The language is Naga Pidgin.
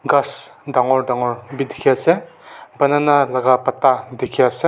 Khass dangor dangor beh dekhe ase banana laka pata dekhe ase.